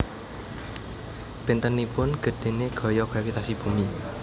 Bentenipun gedhene gaya gravitasi bumi